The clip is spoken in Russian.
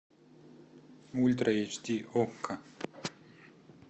ультра эйч ди окко